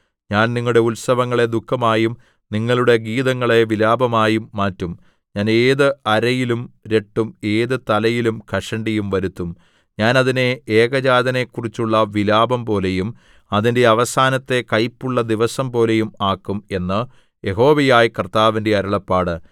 ഞാൻ നിങ്ങളുടെ ഉത്സവങ്ങളെ ദുഃഖമായും നിങ്ങളുടെ ഗീതങ്ങളെ വിലാപമായും മാറ്റും ഞാൻ ഏത് അരയിലും രട്ടും ഏത് തലയിലും കഷണ്ടിയും വരുത്തും ഞാൻ അതിനെ ഏകജാതനെക്കുറിച്ചുള്ള വിലാപംപോലെയും അതിന്റെ അവസാനത്തെ കൈപ്പുള്ള ദിവസംപോലെയും ആക്കും എന്ന് യഹോവയായ കർത്താവിന്റെ അരുളപ്പാട്